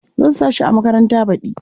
Zan sa shi a makaranta baɗi.